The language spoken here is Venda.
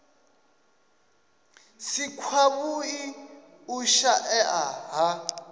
si kwavhui u shaea ha